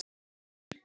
Á tímanum fyrir